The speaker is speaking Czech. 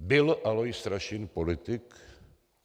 Byl Alois Rašín politik?